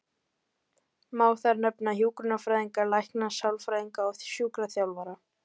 Má þar nefna hjúkrunarfræðinga, lækna, sálfræðinga og sjúkraþjálfara.